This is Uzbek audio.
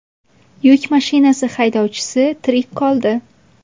Yuk mashinasi haydovchisi tirik qoldi.